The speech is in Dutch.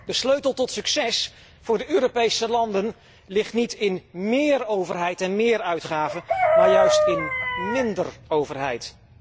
De sleutel tot succes voor de Europese landen ligt niet in méér overheid en méér uitgaven, maar juist in minder overheid.